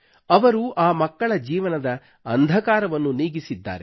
ಅವರು ಆ ಮಕ್ಕಳ ಜೀವನದ ಅಂಧಕಾರವನ್ನು ನೀಗಿಸಿದ್ದಾರೆ